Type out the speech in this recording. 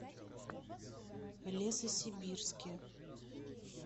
лесосибирске